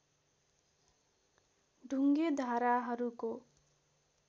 ढुङ्गे धाराहरूको